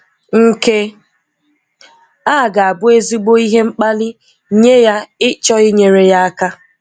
Nke a ga-abụ ezigbo ihe mkpali nye ya ịchọ inyere ya aka.